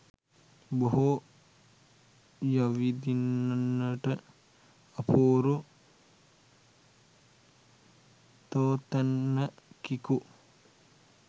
බොහෝ යවිඳින්නට අපූරු තෝතැන්නකිකු